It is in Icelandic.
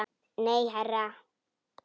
Nei, herra